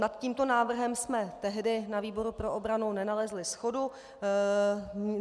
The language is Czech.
Nad tímto návrhem jsme tehdy ve výboru pro obranu nenalezli shodu.